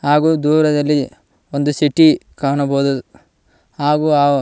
ಹಾಗು ದೂರದಲ್ಲಿ ಒಂದು ಸಿಟಿ ಕಾಣಬಹುದು ಹಾಗೂ--